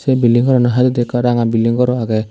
che bilding gorano hai hure ekkan ranga bilding gor ow agey.